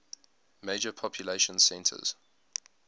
major population centers